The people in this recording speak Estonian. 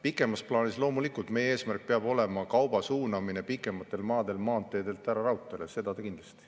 Pikemas plaanis loomulikult meie eesmärk peab olema kauba suunamine pikematel maadel maanteedelt ära raudteele, seda kindlasti.